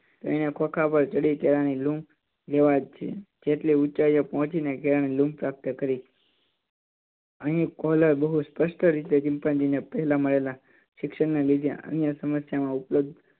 ત્રણે ખોંખા ઉપર ચડી કેળાંની લૂમ લેવા જેટલી ઊચાઇ પર પોહચી ને કેળાંની લૂમ પ્રાપ્ત કરી અહી બહુ સ્પસ્ટ રીતે ચિંપાંજી ને પેલા મળેલા શિક્ષણ ના લીધે અન્ય સમસ્યામાં ઉપલબ્ધ